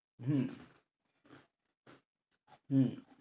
হম উহ